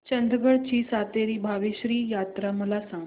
चंदगड ची सातेरी भावेश्वरी यात्रा मला सांग